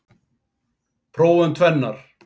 Prófum tvennar.